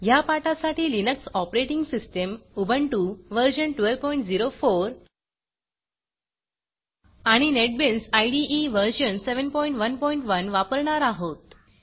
ह्या पाठासाठी Linux operating system Ubuntu व्ह1204 आणि नेटबीन्स इदे व्ह711 वापरणार आहोत